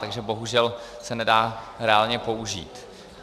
Takže bohužel se nedá reálně použít.